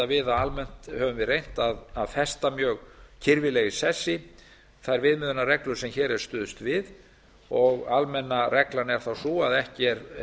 við að almennt höfum við reynt að festa mjög kirfilega í sessi þær viðmiðunarreglur sem hér er stuðst við og almenna reglan er þá sú að ekki er